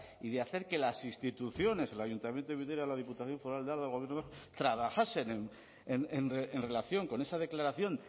y de hacer que las instituciones el ayuntamiento de vitoria la diputación foral de álava el gobierno vasco trabajasen en relación con esa declaración